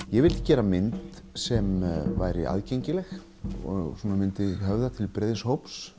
ég vildi gera mynd sem væri aðgengileg og myndi höfða til breiðs hóps